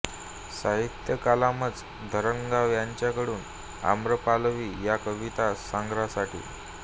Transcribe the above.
साहित्य कलामंच धरणगाव यांचे कडून आम्रपालवी या कविता संग्रहासाठी